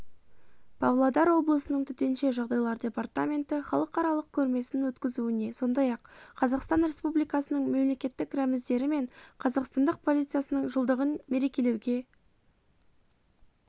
павлодар облысының төтенше жағдайлар департаменті халықаралық көрмесін өткізуіне сондай-ақ қазақстан республикасының мемлекеттік рәміздері мен қазақстандық полициясының жылдығын мерекелеуге